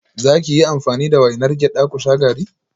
Za ki yi amfani da wainar gyada ku sha garri?